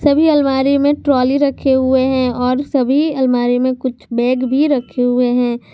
सभी अलमारियों में ट्राली रखे हुए है और सभी अलमारियों में कुछ बैग भी रखे हुए है।